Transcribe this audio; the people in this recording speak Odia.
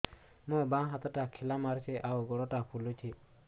ମୋ ବାଆଁ ହାତଟା ଖିଲା ମାରୁଚି ଆଉ ଗୁଡ଼ ଟା ଫୁଲୁଚି